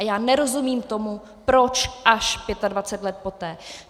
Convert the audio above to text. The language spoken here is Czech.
A já nerozumím tomu, proč až 25 let poté.